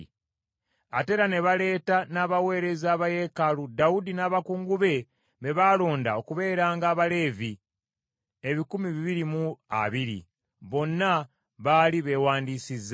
Ate era ne baleeta n’abaweereza ba yeekaalu Dawudi n’abakungu be baalonda okubeeranga Abaleevi ebikumi bibiri mu abiri. Bonna baali beewandiisizza.